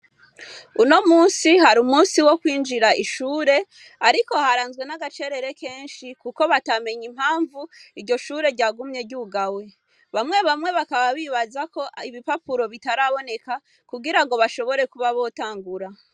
Uno munsi hari umunsi wo kwinjira ishure ariko haranzwe nagacerere kenshi kuko batamenye impamvu iryo shure ryagumye ryugawe, bamwe bamwe bakaba bibazako ibipapuro bitaraboneka kugirango bashobore kuba botangura.